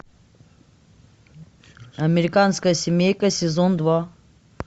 американская семейка сезон два